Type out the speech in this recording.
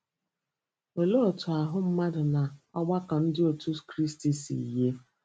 Olee otú ahụ́ mmadụ na ọgbakọ Ndị Otú Kristi si yie?